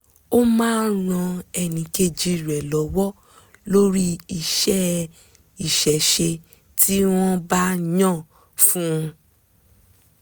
ó máa ń ran ẹnìkejì rẹ̀ lọ́wọ́ lórí iṣẹ́ ìṣẹ̀ṣe tí wọ́n bá yàn fún un